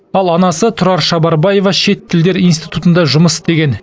ал анасы тұрар шабарбаева шет тілдер институтында жұмыс істеген